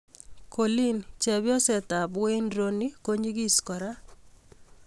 Coleen: Chebyoset ap Wayne Rooney ko nyigis kora.